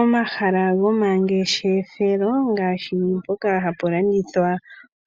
Omahala gomangeshefelo ngaashi mpoka hapu landithwa